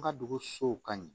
An ka dugusow ka ɲi